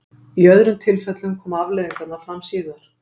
Í öðrum tilfellum koma afleiðingarnar fram síðar.